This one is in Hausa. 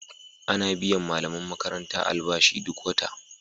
Ana biyan malaman makaranta albashi duk wata.